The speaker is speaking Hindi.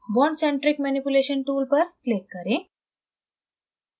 bond centric manipulation tool पर click करें